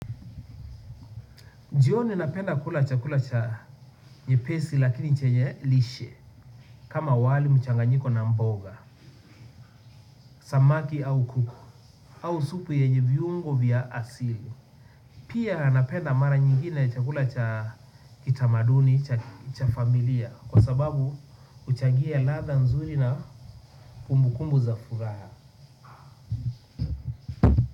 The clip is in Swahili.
Jioni napenda kula chakula cha nyepesi lakini chenye lishe kama wali mchanganyiko na mboga samaki au kuku au supu yenye viungo vya asili pia napenda mara nyingine chakula cha kitamaduni, cha familia kwa sababu huchagia ladha nzuri na kumbukumbu za furaha.